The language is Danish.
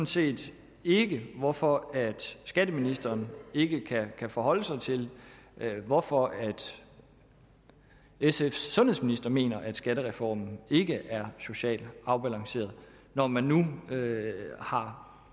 set ikke hvorfor skatteministeren ikke kan forholde sig til hvorfor sfs sundhedsminister mener at skattereformen ikke er socialt afbalanceret når man nu har